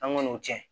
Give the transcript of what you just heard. An ŋan'o tiɲɛ